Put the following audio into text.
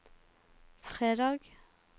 fredag